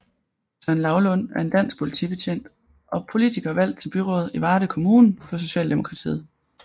Søren Laulund er en dansk politibetjent og politiker valgt til byrådet i Varde Kommune for Socialdemokratiet